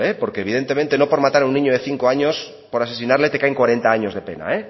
porque evidentemente no por matar a un niño de cinco años por asesinarle te cae cuarenta años de pena